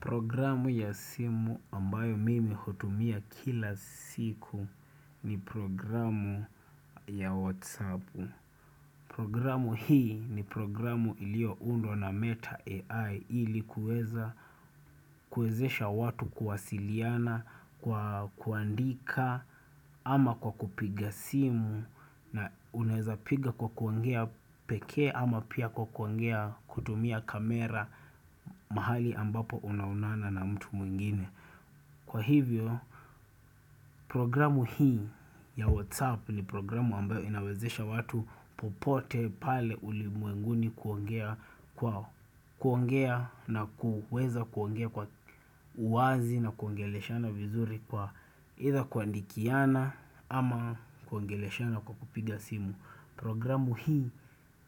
Programu ya simu ambayo mimi hutumia kila siku ni programu ya WhatsApp. Programu hii ni programu ilioundwa na meta AI ili kuweza kuezesha watu kuwasiliana, kuandika ama kwa kupiga simu na unaeza piga kwa kuongea pekee ama pia kwa kuongea kutumia kamera mahali ambapo unaonana na mtu mwingine. Kwa hivyo programu hii ya WhatsApp ni programu ambayo inawezesha watu popote pale ulimwenguni kuongea kwa kuongea na kuweza kuongea kwa uwazi na kuongeleshana vizuri kwa aitha kuandikiana ama kuongeleshana kwa kupiga simu. Programu hii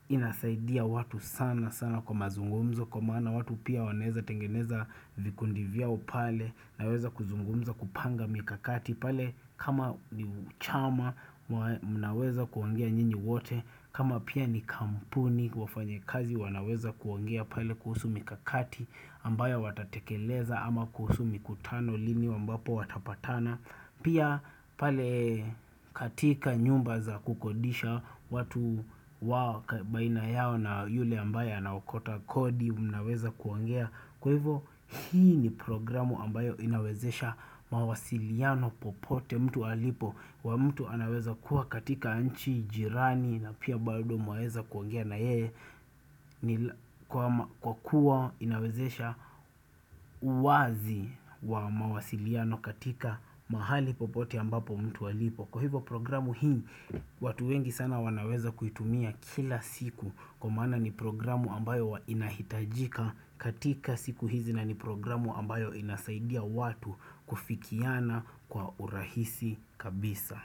inasaidia watu sana sana kwa mazungumzo kwa maana watu pia wanaezatengeneza vikundi vyao pale naweza kuzungumza kupanga mikakati pale kama ni uchama wanaweza kuongea njini wote kama pia ni kampuni wafanyekazi wanaweza kuongea pale kuhusu mikakati ambayo watatekeleza ama kuhusu mikutano lini wambapo watapatana Pia pale katika nyumba za kukodisha watu wa baina yao na yule ambaye anaokota kodi mnaweza kuongea Kwa hivo hii ni programu ambayo inawezesha mawasiliano popote mtu alipo wa mtu anaweza kuwa katika nchi jirani na pia bado mwaeza kuongea na yeye Kwa kuwa inawezesha uwazi wa mawasiliano katika mahali popote ambapo mtu alipo Kwa hivyo programu hii watu wengi sana wanaweza kuitumia kila siku Kwa maana ni programu ambayo inahitajika katika siku hizi na ni programu ambayo inasaidia watu kufikiana kwa urahisi kabisa.